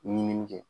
Ɲinini kɛ